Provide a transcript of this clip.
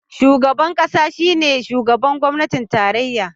Shugaban kasa shine shugaban gwamnatin tarayya